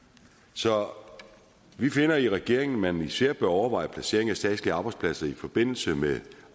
så vi finder i regeringen at man især bør overveje placeringen af statslige arbejdspladser i forbindelse med